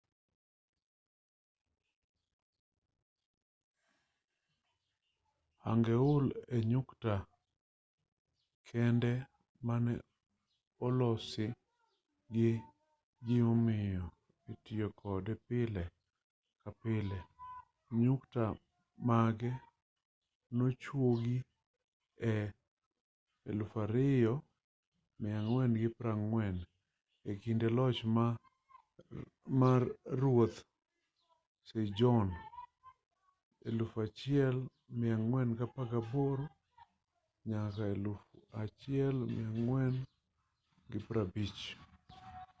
hangeul e nyukta kende mane olosi gi gimomiyo ei tiyo kode pile ka pile. nyukta mage nochuogi e 1444 e kinde loch mar ruoth sejon 1418 - 1450